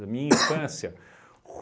Da minha infância?